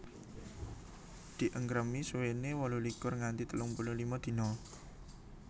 Di engkremi suwene wolulikur nganti telung puluh lima dina